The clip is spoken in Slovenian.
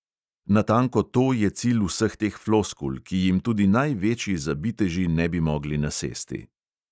Natanko to je cilj vseh teh floskul, ki jim tudi največji zabiteži ne bi mogli nasesti.